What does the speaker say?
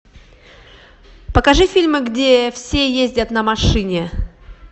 покажи фильмы где все ездят на машине